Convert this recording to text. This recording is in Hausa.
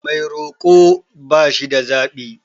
Mai roko ba shida zaɓi.